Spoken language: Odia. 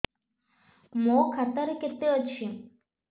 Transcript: ମୋ ଖାତା ରେ କେତେ ଅଛି